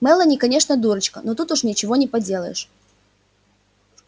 мелани конечно дурочка но тут уж ничего не поделаешь